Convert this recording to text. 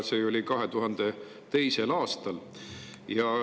See oli 2002. aastal.